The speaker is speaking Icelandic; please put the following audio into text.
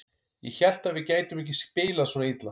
Ég hélt að við gætum ekki spilað svona illa.